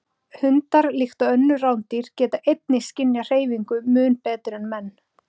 Hundar, líkt og önnur rándýr, geta einnig skynjað hreyfingu mun betur en menn.